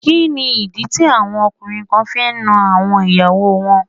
Kí ni ìdí tí àwọn ọkùnrin kan fi ń nan àwọn ìyàwó wọn?